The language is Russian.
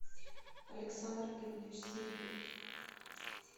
александр георгиевич свиридов